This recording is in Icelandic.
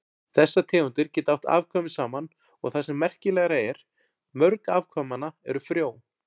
Þessar tegundir geta átt afkvæmi saman og það sem merkilegra er, mörg afkvæmanna eru frjó.